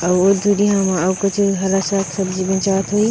अउ दुरिहा म अउ कुछु हरा साग सब्जी बेचात होही ।